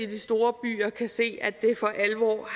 de store byer kan se at det for alvor